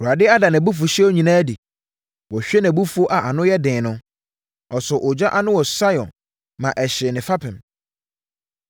Awurade ada nʼabufuhyeɛ nyinaa adi; wahwie nʼabufuo a ano yɛ den no. Ɔsɔɔ ogya ano wɔ Sion ma ɛhyee ne fapem.